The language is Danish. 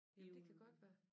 I uge